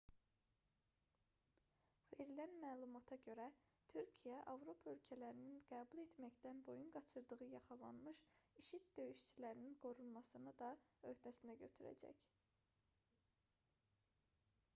verilən məlumata görə türkiyə avropa ölkələrinin qəbul etməkdən boyun qaçırdığı yaxalanmış i̇şi̇d döyüşçülərinin qorunmasını da öhdəsinə götürəcək